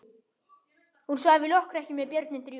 Hún svaf í lokrekkju með börnin þrjú.